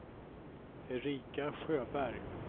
Erika Sjöberg